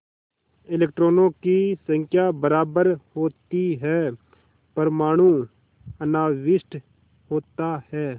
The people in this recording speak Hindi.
इलेक्ट्रॉनों की संख्या बराबर होती है परमाणु अनाविष्ट होता है